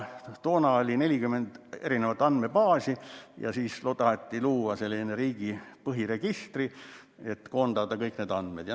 Toona oli 40 andmebaasi ja taheti luua selline riigi põhiregister, mis koondaks kõik need andmed.